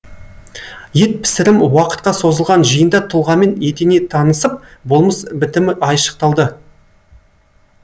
ет пісірім уақытқа созылған жиында тұлғамен етене танысып болмыс бітімі айшықталды